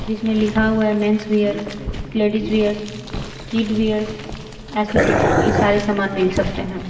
जिसमें लिखा हुआ है men's wear ladies wears kid wears accessory ये सारे समान मिल सकते हैं।